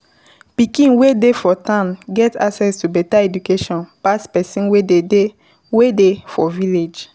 pikin wey dey for town get access to better education pass person wey dey wey dey for village